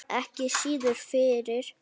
Ekki síður fyrir